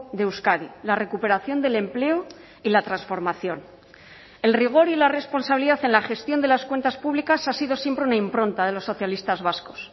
de euskadi la recuperación del empleo y la transformación el rigor y la responsabilidad en la gestión de las cuentas públicas ha sido siempre una impronta de los socialistas vascos